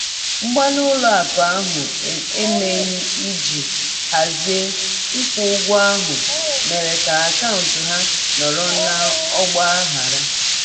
Mgbalị ụlọ akụ ahụ emeghị iji hazie ịkwụ ụgwọ ahụ mere ka akaụntụ ya nọrọ n'ọgba aghara.